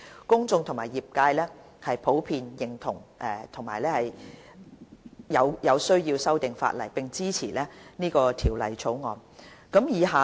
公眾和業界普遍認同有需要修訂法例，並支持《條例草案》。